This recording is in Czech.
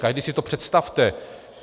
Každý si to představte!